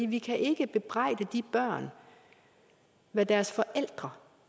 vi kan ikke bebrejde de børn hvad deres forældre